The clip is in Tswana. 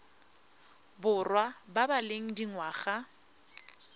borwa ba ba leng dingwaga